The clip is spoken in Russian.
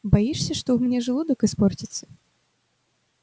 боишься что у меня желудок испортится